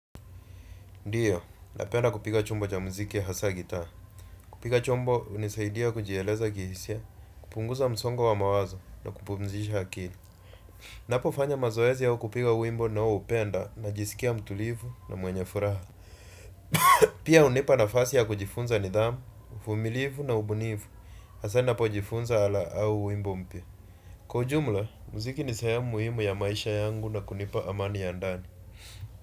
Ndiyo napenda kupiga chombo cha muziki hasa gitaa. Kupiga chombo, hunisaidia kujieleza kihisia, kupunguza msongo wa mawazo na kupumzisha akili. Ninapofanya mazoezi na kupiga wimbo ninaoupenda ninajisikia mtulibu na mwenye furaha pia hunipa nafasi ya kujifunza nidhamu uvumilivu na utulivu hasa ninapojifunza wimbo mpya. Kwa ujumla, muziki ni sehemu muhimu ya maisha yangu na kunipa amani ya ndani.